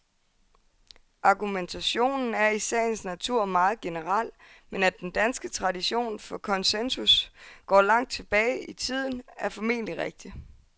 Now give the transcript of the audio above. Argumentationen er i sagens natur meget generel, men at den danske tradition for konsensus går langt tilbage i tiden, er formentlig rigtigt.